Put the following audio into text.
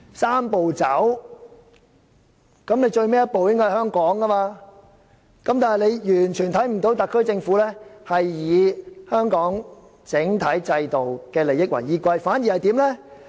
"三步走"的最後一步應該在香港，但大家完全看不到特區政府是以香港整體制度的利益為依歸，反而怎樣呢？